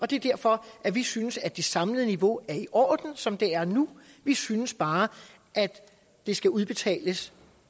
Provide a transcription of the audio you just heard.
det er derfor vi synes at det samlede niveau er i orden som det er nu vi synes bare at det skal udbetales